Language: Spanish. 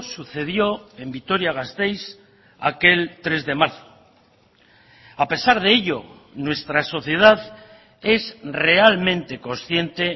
sucedió en vitoria gasteiz aquel tres de marzo a pesar de ello nuestra sociedad es realmente consciente